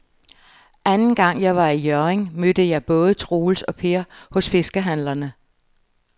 Anden gang jeg var i Hjørring, mødte jeg både Troels og Per hos fiskehandlerne.